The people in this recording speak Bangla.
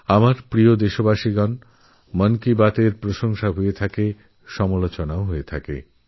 আমার প্রিয় দেশবাসী মন কি বাতএর প্রশংসাও হচ্ছে আবারসমালোচনাও হচ্ছে